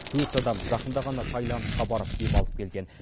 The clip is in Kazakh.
төрт адам жақында ғана тайландқа барып демалып келген